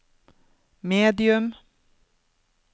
medium